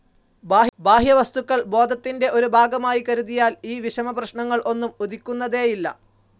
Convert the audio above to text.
ബാഹ്യവസ്തുക്കൾ ബോധത്തിൻ്റെ ഒരു ഭാഗമായി കരുതിയാൽ ഈ വിഷമപ്രശ്നങ്ങൾ ഒന്നും ഉദിക്കുന്നതേയില്ല.